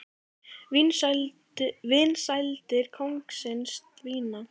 Vinsældir kóngsins dvína